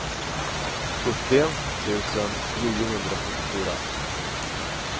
sjuttio tusen niohundrasjuttiofyra